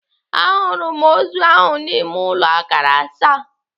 À hụrụ m ozu ahụ n'ime ụlọ akara asaa.